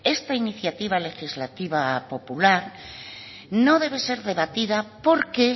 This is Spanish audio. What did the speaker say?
esta iniciativa legislativa popular no debe ser debatida porque